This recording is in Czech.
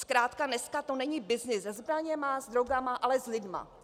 Zkrátka dneska to není byznys se zbraněmi, s drogami, ale s lidmi.